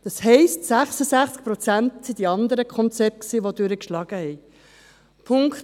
Das heisst, 66 Prozent waren die anderen Konzepte, die durchgeschlagen haben.